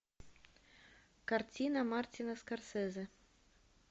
картина мартина скорсезе